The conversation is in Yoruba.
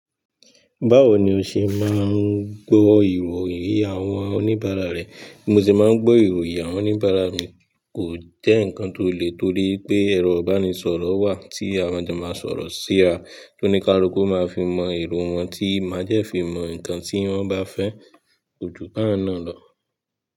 Báwo ni o ṣe máa ń gbọ́ ìròyìn àwọn oníbàárà rẹ? Mo sì máa ń gbọ́ ìròyìn àwọn oníbàárà mi, kò jẹ́ nǹkan tó le, torí pé ẹ̀rọ ìbánisọ̀rọ̀ wà tí àwọn ọjà máa ń sọ̀rọ̀ síra, tó ní káluku máa fi mọ ìró wọn tí mádẹ̀ fi mọ nǹkan tí wọ́n bá fẹ́, ojú bá wọn na lọ.